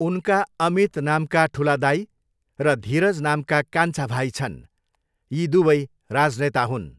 उनका अमित नामका ठुला दाइ र धीरज नामका कान्छा भाइ छन्, यी दुवै राजनेता हुन्।